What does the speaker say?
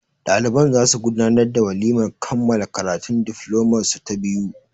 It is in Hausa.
Ɗaliban za su gudanar da walimar kammala karatun diflomar su ta biyu.